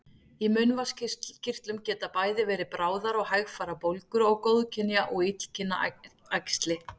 Í munnvatnskirtlum geta bæði verið bráðar og hægfara bólgur og góðkynja og illkynja æxli.